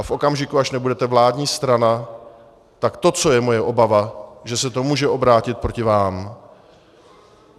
A v okamžiku, až nebudete vládní strana, tak to, co je moje obava, že se to může obrátit proti vám.